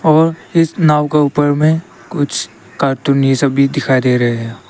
और इस नाव का ऊपर में कुछ कार्टून ये सब भी दिखाई दे रहे है।